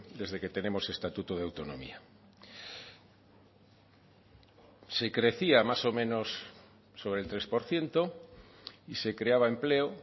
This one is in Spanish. desde que tenemos estatuto de autonomía se crecía más o menos sobre el tres por ciento y se creaba empleo